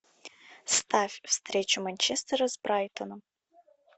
ставь встречу манчестера с брайтоном